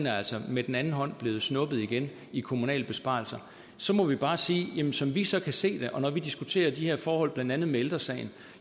altså med den anden hånd er blevet snuppet igen i kommunale besparelser så må vi bare sige at som vi så kan se det og når vi diskuterer de her forhold blandt andet med ældre sagen